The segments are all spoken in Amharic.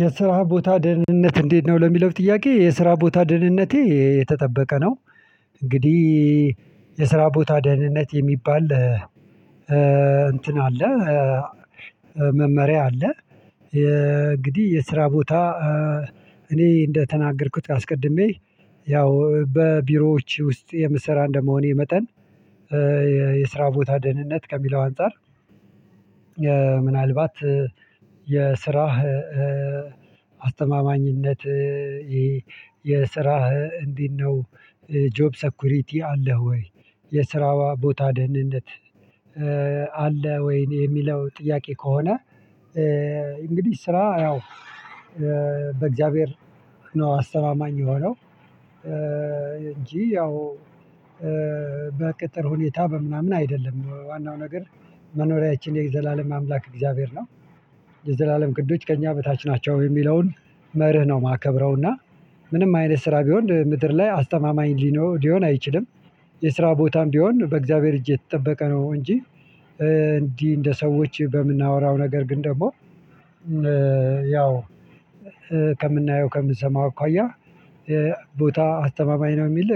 የስራ ቦታ ደህንነት እንዴት ነው ለሚለው ጥያቄ የስራ ቦታ ደህንነቴ የተጠበቀ ነው እንግዲህ የስራ ቦታ ደህንነት የሚባል እንትን አለ መመሪያ አለ የ እንግዲህ የስራ ቦታ እኔ እንደተናገርኩት አስቀድሜ ያው በቢሮዎች ውስጥ የምሰራ እንደመሆኔ መጠን የስራ ቦታ ደህንነት ከሚለው አንፃር ምናልባት የስራህ አስተማማኝነት ይሄ የስራህ እንዴት ነው? ጆብ ሰኩሪቲ አለህ ወይ የስራዋ ቦታ ደህንነት አለ ወይን የሚለው ጥያቄ ከሆነ እንግዲህ ስራ ያው በእግዚአብሔር ነው አስተማማኝ የሆነው እንጂ ያው በቅጥር ሁኔታ በምናምን አይደለም ዋናው ነገር መኖሪያችን የዘላለም አምላክ እግዚአብሔር ነው። የዘላለም ክንዶች ከእኛ በታች ናቸው የሚለውን መርህ ነው የማከብረው እና ምንም አይነት ስራ ቢሆን ምድር ላይ አስተማማኝ ሊኖ ሊሆን አይችልም። የስራ ቦታም ቢሆን በእግዚአብሔር እጅ የተጠበቀ ነው እንጂ እንዲህ እንደ ሰዎች በምናወራው ነገር ግን ደግሞ ያው ከምናየው ከምንሰማው አኳያ ቦታ አስተማማኝ ነው የሚል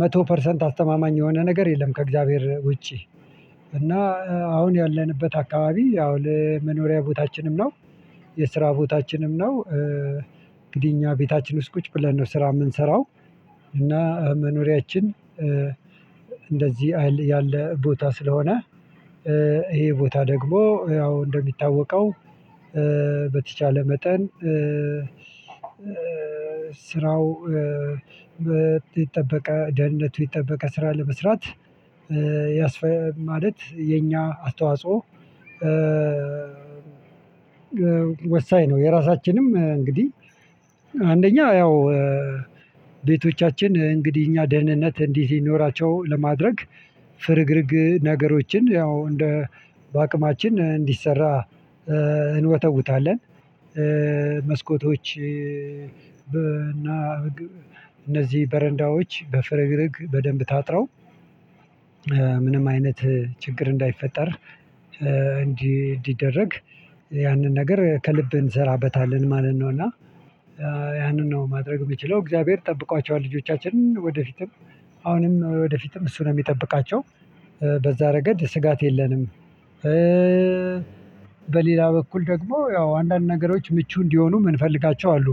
መቶ ፐርሰንት አስተማማኝ የሆነ ነገር የለም ከእግዚአብሔር ውጪ እና አሁን ያለንበት አካባቢ አሁን ለመኖሪያ ቦታችንም ነው። የስራ ቦታችንም ነው እንግዲህ እኛ ቤታችን ውስጥ ቁጭ ብለን ነው ስራ የምንሰራው እና መኖሪያችን እንደዚህ ያለ ቦታ ስለሆነ ይሄ ቦታ ደግሞ ያው እንደሚታወቀው በተቻለ መጠን ስራው ይጠበቀ ደህንነቱ ይጠበቀ ስራ ለመስራት ያስፈ ማለት የኛ አስተዋጽኦ ወሳኝ ነው የራሳችንም እንግዲህ አንደኛ ያው ቤቶቻችን እንግዲህ እኛ ደህንነት እንዲህ ይኖራቸው ለማድረግ ፍርግርግ ነገሮችን ያው እንደ በአቅማችን እንዲሰራ እንወተውታለን። መስኮቶች በ አና እነዚህ በረንዳዎች በፍርግርግ በደንብ ታጥረው ምንም አይነት ችግር እንዳይፈጠር እንዲደረግ ያንን ነገር ከልብ እንሰራበታለን ማለት ነው እና ያንን ነው ማድረግ የሚችለው እግዚአብሔር ጠብቋቸዋል ልጆቻችን ወደፊትም አሁንም ወደፊትም እሱ ነው የሚጠብቃቸው በዛ ረገድ ስጋት የለንም። በሌላ በኩል ደግሞ ያው አንዳንድ ነገሮች ምቹ እንዲሆኑ ምን ፈልጋቸው አሉ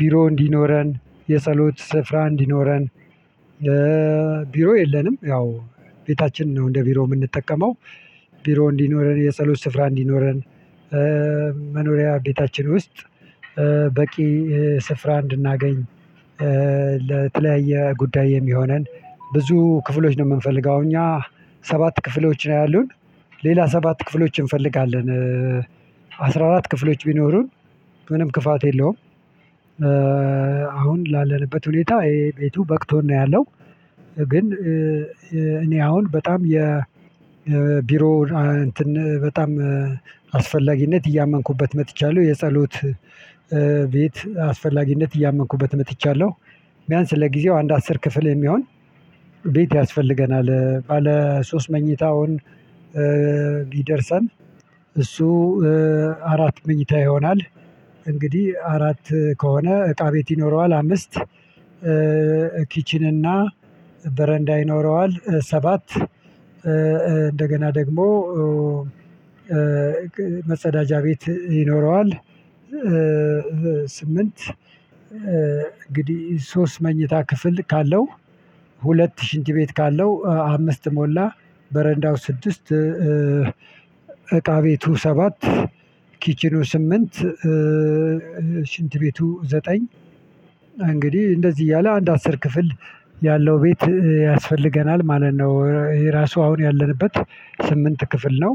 ቢሮ እንዲኖረን የፀሎት ስፍራ እንዲኖረን ቢሮ የለንም ያው ቤታችንን ነው እንደ ቢሮ የምንጠቀመው። ቢሮ እንዲኖረን የጸሎት ስፍራ እንዲኖረን መኖሪያ ቤታችን ውስጥ በቂ ስፍራ እንድናገኝ ለተለያየ ጉዳይ የሚሆነን ብዙ ክፍሎች ነው የምንፈልገው እኛ ሰባት ክፍሎችን ነው ያሉን ሌላ ሰባት ክፍሎች እንፈልጋለን። አስራ አራት ክፍሎች ቢኖሩን ምንም ክፋት የለውም አሁን ላለንበት ሁኔታ ይሄ ቤቱ በቅቶን ነው ያለው። ግን እኔ አሁን በጣም የ ቢሮ እንትን በጣም አስፈላጊነት እያመንኩበት መጥቼያለው የጸሎት ቤት አስፈላጊነት እያመንኩበት መጥቻለሁ ቢያንስ ለጊዜው አንድ አስር ክፍል የሚሆን ቤት ያስፈልገናል ባለ ሶስት መኝታውን ይደርሳል። አሱ አራት ምኝታ ይሆናል እንግዲህ አራት ከሆነ እቃ ቤት ይኖረዋል አምስት ኪችን እና በረንዳ ይኖረዋል ሰባት እንደገና ደግሞ መጸዳጃ ቤት ይኖረዋል ስምንት እንግዲህ ሶስት መኝታ ክፍል ካለው ሁለት ሺንት ቤት ካለው አምስት ሞላ በረንዳው ስድስት እቃ ቤቱ ሰባት ኪችኑ ስምንት ሽንት ቤቱ ዘጠኝ እንግዲህ እንደዚህ እያለ አንድ አስር ክፍል ያለው ቤት ያስፈልገናል ማለት ነው። የራሱ አሁን ያለንበት ስምንት ክፍል ነው።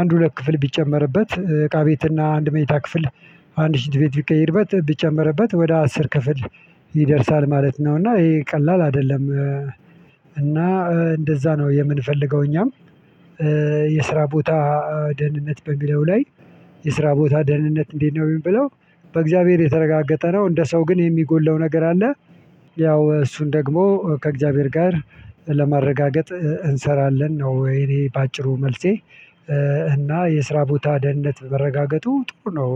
አንድ ሁለት ክፍል ቢጨመርበት እቃ ቤት እና አንድ መኝታ ክፍል አንድ ሽንት ቤት ቢቀየርበት ቢጨመርበት ወደ አስር ክፍል ይደርሳል ማለት ነው እና ይሄ ቀላል አይደለም። እና እንደዛ ነው የምንፈልገው እኛም የስራ ቦታ ደህንነት በሚለው ላይ የስራ ቦታ ደህንነት እንዴት ነው የሚል ብለው በእግዚአብሔር የተረጋገጠ ነው እንደ ሰው ግን የሚጎለው ነገር አለ። ያው እሱን ደግሞ ከእግዚአብሔር ጋር ለማረጋገጥ እንሰራለን ነው የኔ በአጭሩ መልሴ። እና የስራ ቦታ ደህንነት መረጋገጡ ጥሩ ነው።